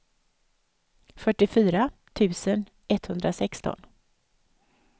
fyrtiofyra tusen etthundrasexton